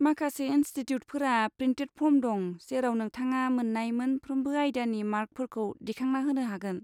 माखासे इनस्टिटिउटफोरा printed firm दं जेराव नोंथाङा मोन्नाय मोनफ्रोमबो आयदानि मार्कफोरखौ दिंखांना होनो हागोन।